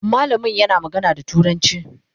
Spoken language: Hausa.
mallamin yana magana da turanci